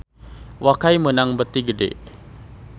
Wakai meunang bati gede